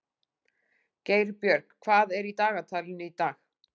Geirbjörg, hvað er í dagatalinu í dag?